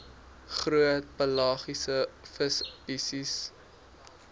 groot pelagiese visspesies